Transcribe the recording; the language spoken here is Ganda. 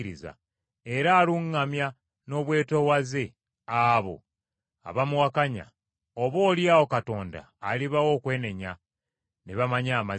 era aluŋŋamya n’obwetoowaze abo abamuwakanya, oboolyawo Katonda alibawa okwenenya, ne bamanya amazima,